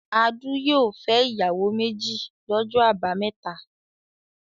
Adu yóò fẹ́ ìyàwó méjì lọ́jọ́ àbámẹ́ta.